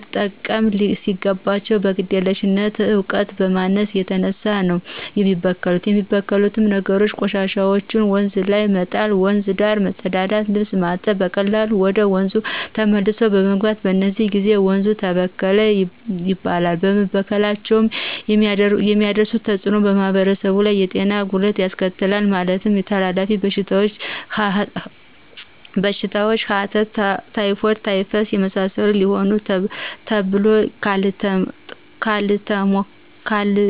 መጠቀም ሲገባቸው ከግዴለሽነትና ከእውቀት ማነስ የተነሳ ነው የሚበከሉት የሚበክሉት ነገሮችም :ቆሻሻዎችን ወንዝ ላይ መጣል :ወንዝ ዳር መጸዳዳትና ልብስ ማጠብ በቀላሉ ወደ ወንዙ ተመልሶ በመግባት በዚህ ጊዜ ወንዙ ተበከለ ይባላል በመበከላቸው የሚያሳድሩት ተጽእኖ በማህበረሰቡ ላይ የጤና ጉዳት ያስከትላሉ ማለትም ተላላፊ በሽታዎችን ሐተት :ታይፎይድ :ታይፈስ የመሳሰሉት ሲሆኑ በተሎ ካልታከሙት ለሞት ሊዳርጉ ይችላሉ።